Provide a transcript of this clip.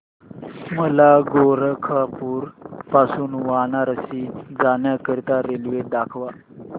मला गोरखपुर पासून वाराणसी जाण्या करीता रेल्वे दाखवा